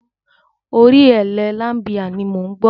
Orin Elle Limebear ni mò ń gbọ́.